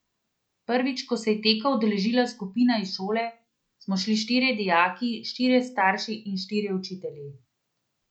Prvič, ko se je teka udeležila skupina iz šole, smo šli štirje dijaki, štirje starši in štirje učitelji.